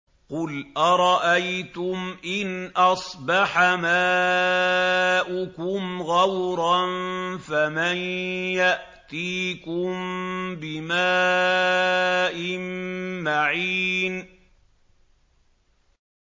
قُلْ أَرَأَيْتُمْ إِنْ أَصْبَحَ مَاؤُكُمْ غَوْرًا فَمَن يَأْتِيكُم بِمَاءٍ مَّعِينٍ